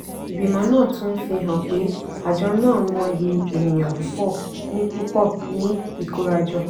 ìgbìmọ̀ náà tún ń fi hàn pé àjọ náà mọyì ènìyàn púpọ̀ ní púpọ̀ ní ikórajọ.